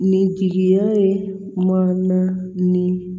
Nin jigiya ye maana ni